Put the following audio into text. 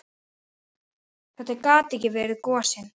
Þetta gat ekki verið gosinn.